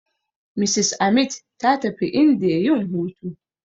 Mrs Amit ta tafi indiya yin hutu.